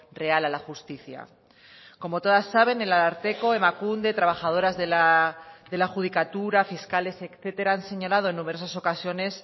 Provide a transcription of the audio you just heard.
real a la justicia como todas saben el ararteko emakunde trabajadoras de la judicatura fiscales etcétera han señalado en numerosas ocasiones